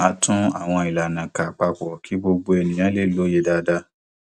a tún àwọn ìlànà kà papọ kí gbogbo ènìyàn lè lòye dáadáa